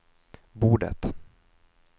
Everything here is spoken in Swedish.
bordet